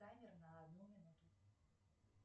таймер на одну минуту